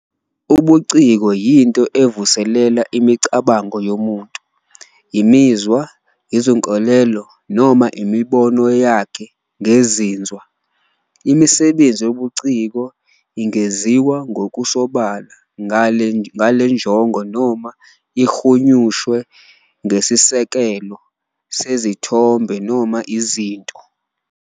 Ubuciko yinto evuselela imicabango yomuntu, imizwa, izinkolelo, noma imibono yakhe ngezinzwa. Imisebenzi yobuciko ingenziwa ngokusobala ngale njongo noma ihunyushwe ngesisekelo sezithombe noma izinto.